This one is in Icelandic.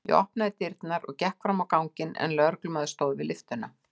Ég opnaði dyrnar og gekk fram á ganginn en lögreglumaður stóð við lyftuna.